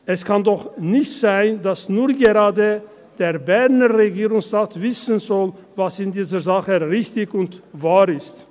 Es kann doch nicht sein, dass nur gerade der Berner Regierungsrat wissen soll, was in dieser Sache richtig und wahr ist.